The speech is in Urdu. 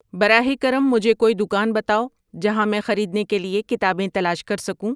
براہ کرم مجھے کوئی دکان بتاوؑ جہاں میں خریدنے کے لیے کتابیں تلاش کر سکوں